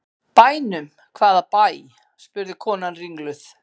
Bænum, hvaða bæ? spurði konan ringluð.